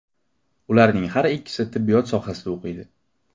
Ularning har ikkisi tibbiyot sohasida o‘qiydi.